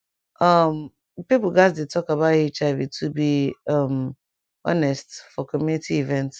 um pipo gatz dey talk about hiv to be um honest for community event